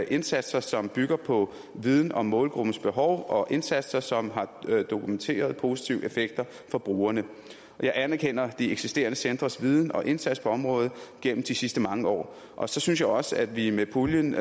indsatser som bygger på viden om målgruppens behov og indsatser som har dokumenteret positive effekter for brugerne jeg anerkender de eksisterende centres viden og indsats på området gennem de sidste mange år og så synes jeg også at vi med puljen